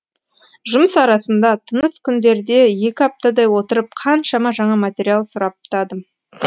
жұмыс арасында тыныс күндерде екі аптадай отырып қаншама жаңа материал сұрыптадым